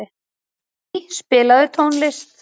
Benný, spilaðu tónlist.